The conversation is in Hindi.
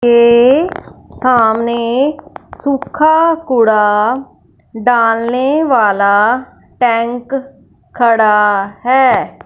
ये सामने सूखा कूड़ा डालने वाला टॅंक खड़ा हैं।